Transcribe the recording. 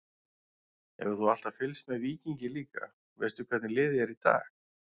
Hefur þú alltaf fylgst með Víkingi líka, veistu hvernig liðið er í dag?